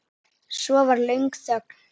Svo var löng þögn.